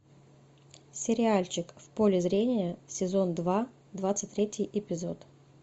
сериальчик в поле зрения сезон два двадцать третий эпизод